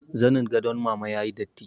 Zanin gadon mama ya yi datti